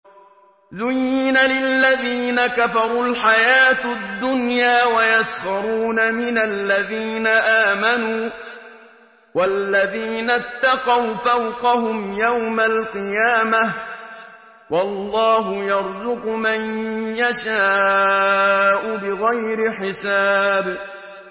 زُيِّنَ لِلَّذِينَ كَفَرُوا الْحَيَاةُ الدُّنْيَا وَيَسْخَرُونَ مِنَ الَّذِينَ آمَنُوا ۘ وَالَّذِينَ اتَّقَوْا فَوْقَهُمْ يَوْمَ الْقِيَامَةِ ۗ وَاللَّهُ يَرْزُقُ مَن يَشَاءُ بِغَيْرِ حِسَابٍ